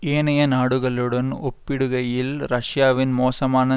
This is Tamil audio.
ஏனைய நாடுகளுடன் ஒப்பிடுகையில் ரஷ்யாவின் மோசமான